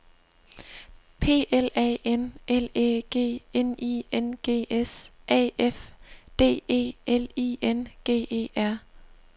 P L A N L Æ G N I N G S A F D E L I N G E R